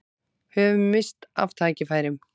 Höfum misst af tækifærum